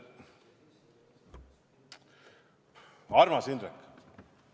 Armas Indrek!